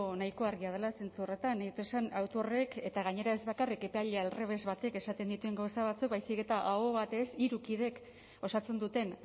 nahiko argia dela zentzu horretan nahi dut esan auto horrek eta gainera ez bakarrik epailea aldrebes batek esaten dituen gauza batzuk baizik eta aho batez hiru kideek osatzen duten